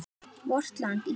VORT LAND ÍSLAND